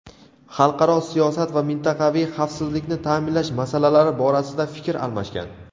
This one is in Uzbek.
xalqaro siyosat va mintaqaviy xavfsizlikni ta’minlash masalalari borasida fikr almashgan.